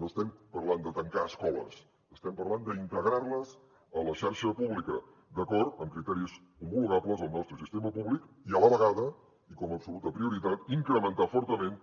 no estem parlant de tancar escoles estem parlant d’integrar les a la xarxa pública d’acord amb criteris homologables al nostre sistema públic i a la vegada i com a absoluta prioritat incrementar fortament